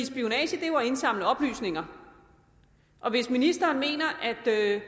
spionage er jo at indsamle oplysninger og hvis ministeren mener at